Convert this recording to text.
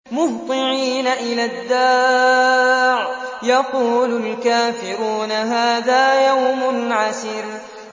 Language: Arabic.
مُّهْطِعِينَ إِلَى الدَّاعِ ۖ يَقُولُ الْكَافِرُونَ هَٰذَا يَوْمٌ عَسِرٌ